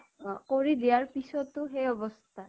অ' কৰি দিয়াৰ পিছতো সেই অৱস্থা